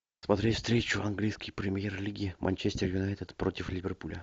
смотреть встречу английской премьер лиги манчестер юнайтед против ливерпуля